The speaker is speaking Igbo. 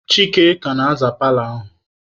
Chika ka na-aza paalọ ahụ.